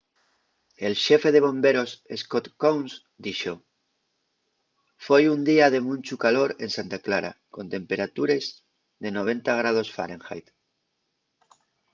el xefe de bomberos scott kouns dixo: foi un día de munchu calor en santa clara con temperatures de 90º fahrenheit